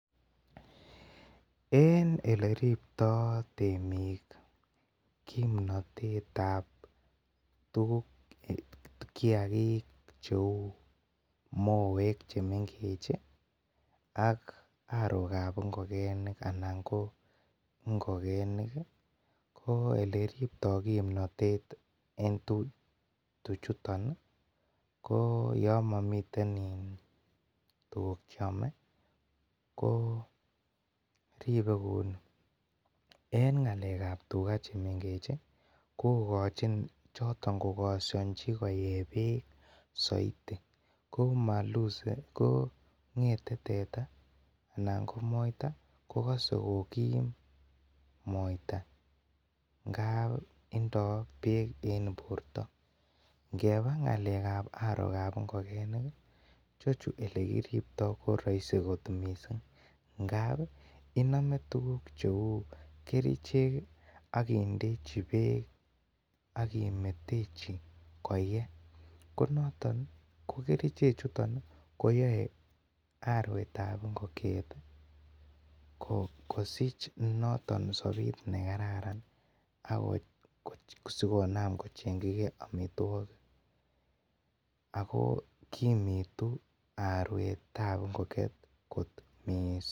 En eleribtoi temik kimnatetab moek chemengechen ak arokab ingokegenik ih eleribtoi kimnotet en tuchutin ih , ko Yoon mamiten tuguk chrome ko irbe kouni, en ng'alekab tugaa chemengech ih kokachin choton kogasanchi koeyebek soiti koma kong'ete teta kokase kokim moita ngap tindoo bek en borta . Ngeba ng'alekab arokeb ingogenik ih chechu olekiribto korasi kot missing, ngap ih iname tukuk cheuu kerichek akindechi beek agimetechi koye ko noton hi , kokerichek chuton ih koyae aruetab ingokiet kosich noton sobet nekararan asikonam kocheng'chige amituakik Ako kimitu aruetab ingokiet kot missing.